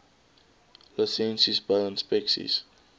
lisensies bou inspeksies